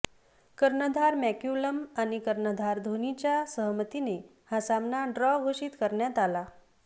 कर्णधार मॅक्क्यूलम आणि कर्णधार धोनीच्या सहमतीने हा सामना ड्रॉ घोषित करण्यात आला